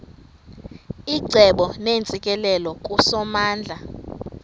icebo neentsikelelo kusomandla